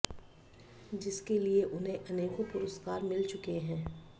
जिसके लिए उन्हें अनेकों पुरस्कार मिल चुके हैं